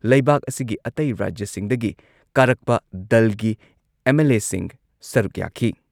ꯂꯩꯕꯥꯛ ꯑꯁꯤꯒꯤ ꯑꯇꯩ ꯔꯥꯖ꯭ꯌꯁꯤꯡꯗꯒꯤ ꯀꯥꯔꯛꯄ ꯗꯜꯒꯤ ꯑꯦꯝ.ꯑꯦꯜ.ꯑꯦꯁꯤꯡ ꯁꯔꯨꯛ ꯌꯥꯈꯤ꯫